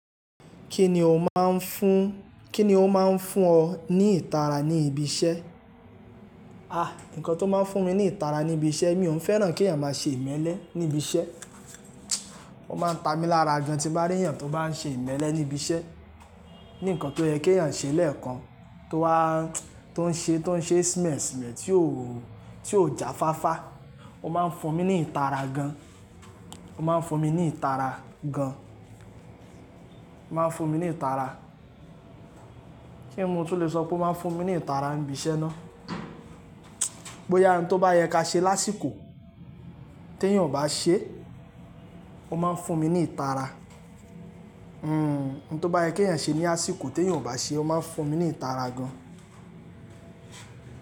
Kíni ó máa ń fún, kíni ó máa ń fún ọ ní ìtara ní ibi iṣẹ́? Àh! Ǹkan tó máa ń fún mi ní ìtara ní ibi iṣẹ́, mi ò n fẹ́ràn kí èèyàn máa ṣe ìmẹ́lẹ́ ní ibi iṣẹ́. Ó máa ń ta mi lára gan tí mo bá rí èèyàn tó bá ń ṣe ìmẹ́lẹ́ ní ibi iṣẹ́. Nì nkan tó yẹ kí èèyàn ṣe lẹ́ẹ̀kan tó wá, tó ń ṣe, tó ń ṣe sme sme tí ó, tí ó ja fáfá. Ó máa ń fún mi ní ìtara gan. Ó máa ń fún mi ní ìtara gan. Ó máa ń fún mi ní ìtara. Kíni mo tún lè sọ pé ó máa ń fún mi ní ìtara ní ibi iṣẹ́ ná. Bóyá nkan tó bá yẹ ká ṣe lásìkò tí èèyàn ò bá ṣe, ó máa ń fún mi ní ìtara. Hmm. Ohun tó bá yẹ kí èèyàn ṣe ní àsìkò tí èèyàn ò bá ṣe, ó máa ń fún mi ní ìtara gan.